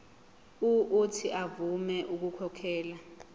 uuthi avume ukukhokhela